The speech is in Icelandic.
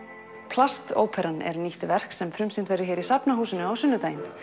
plastóperan er nýtt verk sem frumsýnt verður hér í Safnahúsinu á sunnudaginn